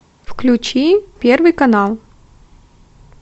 включи первый канал